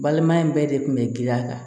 Balimaya in bɛɛ de kun bɛ girin a kan